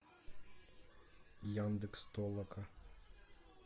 яндекс толока